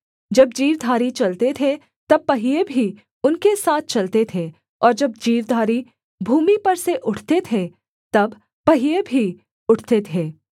जब जीवधारी चलते थे तब पहिये भी उनके साथ चलते थे और जब जीवधारी भूमि पर से उठते थे तब पहिये भी उठते थे